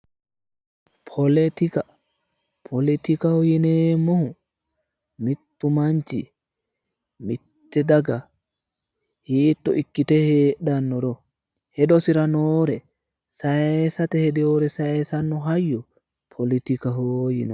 Poletika. Pletikaho yineemmohu mittu manchi mitte daga hiito ikkite heedhannoro hedosira noore sayisate hedewore satisate horonsiranno hayyo poletikaho yinanni.